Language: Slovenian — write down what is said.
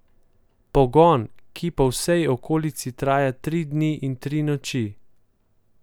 Pogon, ki po vsej okolici traja tri dni in tri noči.